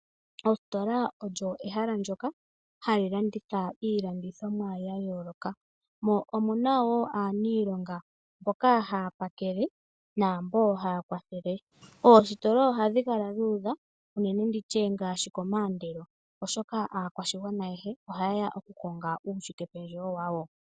Ositola olyo ehela ndyoka hali landitha iilandithomwa ya yooloka mo omuna aanilonga mboka haya pakele namboka haya kwathele. Oositola ohadhi kala dhuudha ngaashi komandelo oshoka aakwashigwana ayehe ohayeya oku konga uushike pendjewo wawo.